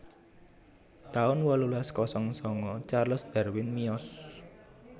taun wolulas kosong sanga Charles Darwin miyos